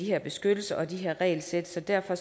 her beskyttelse og de her regelsæt derfor